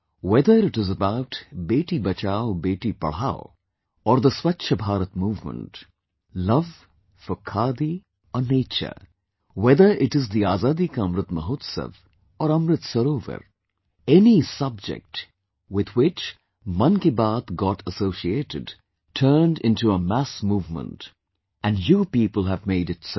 Whether it is about Beti Bachao Beti Padhao, or the Swachh Bharat movement, love for Khadi or nature, whether it is the Azadi Ka Amrit Mahotsav or Amrit Sarovar, any subject with which 'Mann Ki Baat' got associated, turned into a mass movement, and you people have made it so